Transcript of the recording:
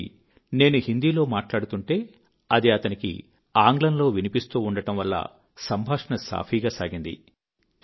కాబట్టి నేను హిందీలో మాట్లాడుతుంటే అది అతనికి ఆంగ్లంలో వినిపిస్తూ ఉండడం వల్ల సంభాషణ సాఫీగా సాగింది